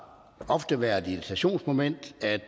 ofte været et irritationsmoment at